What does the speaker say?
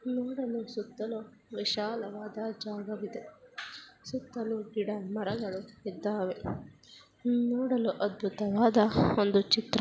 ನೋಡಲು ಸುತ್ತಲೂ ವಿಶಾಲವಾದ ಜಾಗವಿದೆ ಸುತ್ತಲೂ ಗಿಡ-ಮರಗಳು ಇದ್ದಾವೆ ನೋಡಲು ಅದ್ಭುತವಾದ ಒಂದು ಚಿತ್ರ.